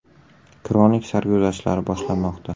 Kronik sarguzashtlari boshlanmoqda!